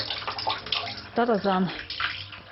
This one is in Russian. тарзан